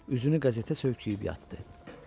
Üzünü qəzetə söyküyüb yatdı.